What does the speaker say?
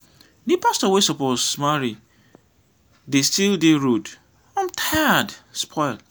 the pastor wey suppose marry de still dey road. im tire spoil.